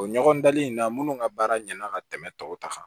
O ɲɔgɔn dali in na munnu ka baara ɲɛna ka tɛmɛ tɔw ta kan